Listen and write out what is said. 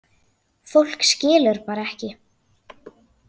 Fólk skilur bara ekki